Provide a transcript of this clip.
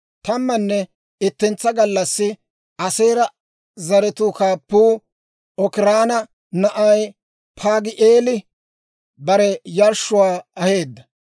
Tammanne ittentsa gallassi Aaseera zaratuu kaappuu Okiraana na'ay Paagi'eeli bare yarshshuwaa aheedda.